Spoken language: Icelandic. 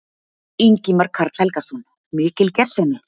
Ingimar Karl Helgason: Mikil gersemi?